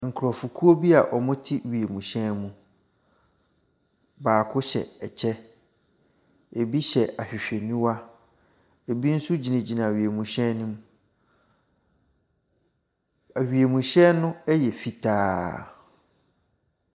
Nkrɔfokuo a wɔte wiemhyɛn mu, baako hyɛ ɛkyɛ. Ebi ahwehwɛniwa. Ebi nso gyinagyina wiemhyqn no mu. Awiemhyqn no yq fitaa.